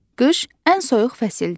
Qış ən soyuq fəsildir.